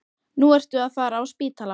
Nú ertu að fara á spítala